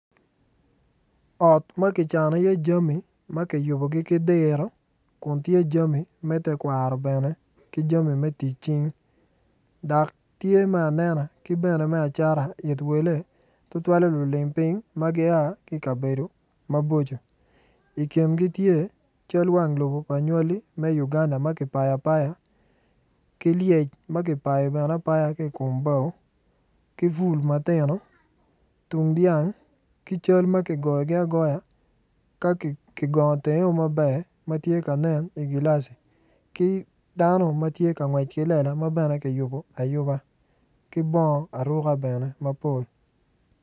Ot ma kicano iye jami ma kiyubogi ki diro kun tye jami me tekwaro bene ki jami me tic cing dok tye me anena ki me acata it wele tutwalle lulim piny ma gia ki i kbedo maboco i kine tye cal wang lobo pa nywali me Uganda ma kipayo aoaya ki lyec ma kipayo ki i kom bao ki bul matino tung dyang ki cal kigoyogi agoya ka kigongo tenge maber ma tye ka nen i gilaci ki dano matye ka ngec ki lela ma bene kiyubo ayuba ki bongo aruka bene mapol.